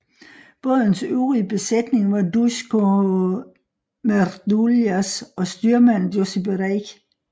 Bådens øvrige besætning var Duško Mrduljaš og styrmand Josip Reić